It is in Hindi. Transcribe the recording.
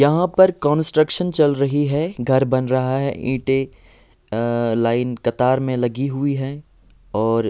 यहाँ पर कंस्ट्रक्शन चल रही हैं घर बन रहा हैं ईटे अ अ लाइन कतार में लगी हुई हैं और--